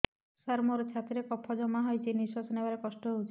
ସାର ମୋର ଛାତି ରେ କଫ ଜମା ହେଇଯାଇଛି ନିଶ୍ୱାସ ନେବାରେ କଷ୍ଟ ହଉଛି